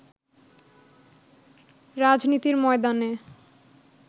রাজনীতির ময়দানে